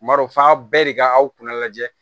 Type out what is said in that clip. M'a dɔn f'a bɛɛ de ka aw kunna lajɛ